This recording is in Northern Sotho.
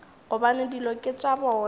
gobane dilo ke tša bona